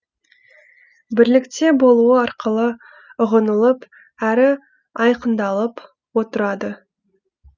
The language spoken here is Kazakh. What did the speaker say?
бірлікте болуы арқылы ұғынылып әрі айқындалып отырады